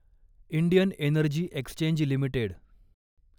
Indian energy exchange limited